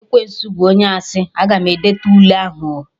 Ekwensu bụ onye asị, Aga m edete Ule ahụ oo